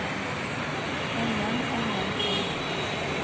enden enden enden